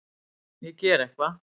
Ég geri eitthvað.